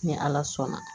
Ni ala sɔnna